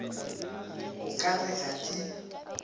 o ka re ga di